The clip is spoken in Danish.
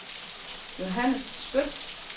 Johannes Skøtt